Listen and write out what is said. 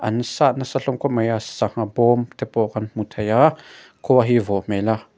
an sat nasa hlawm khawp mai a sangha bawmte pawh kan hmu thei a khua hi vawh hmel a.